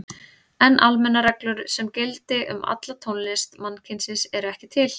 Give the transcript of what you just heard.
En almennar reglur sem gildi um alla tónlist mannkynsins eru ekki til.